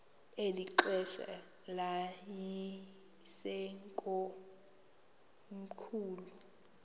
eli xesha yayisekomkhulu